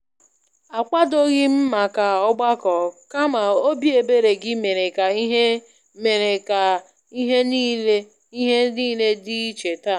Akwadoghị m màkà ọgbakọ kama óbị ebere gị mere ka ihe mere ka ihe niile dị iche taa.